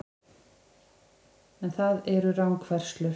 En það eru rangfærslur